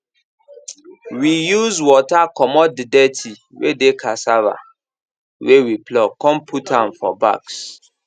we use water comot the dirty wey dey cassava wey we pluck con put am am for bags